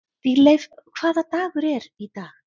Dýrleif, hvaða dagur er í dag?